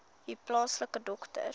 u plaaslike dokter